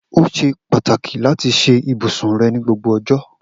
O ṣe pataki lati ṣe ibusun rẹ ni gbogbo ọjọ.